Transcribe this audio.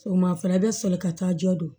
O ma fana bɛ soli ka taa jɔ don